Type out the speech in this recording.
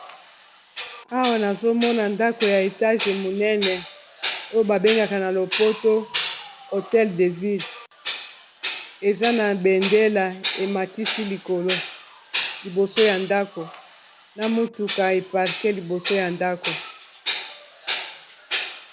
Awa, nazo mona ndako ya etage monene, oyo ba bengaka na lopoto hotel de ville. Eza na bendela ematisi likolo, liboso ya ndako. Na mutuka eparke liboso ya ndako.